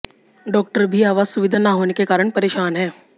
doctor भी आवास सुविधा न होने के कारण परेशान हैं